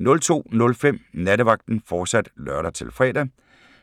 02:05: Nattevagten, fortsat (lør-fre)